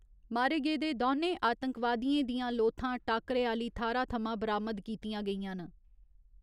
मारे गेदे दौनें आतंकवादियें दियां लोथां टाक्करे आह्‌ली थाह्‌र थमां बरामद कीतियां गेईयां न।